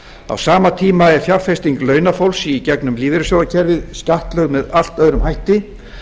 á sama tíma er fjárfesting launafólks í gegnum lífeyrissjóðakerfið skattlögð með allt öðrum hætti